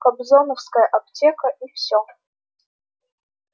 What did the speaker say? кобзоновская аптека и всё